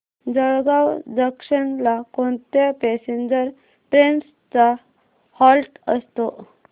Jalgaon junction ला कोणत्या passenger trains चा हॉल्ट असतो